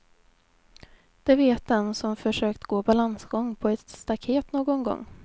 Det vet den som försökt gå balansgång på ett staket någon gång.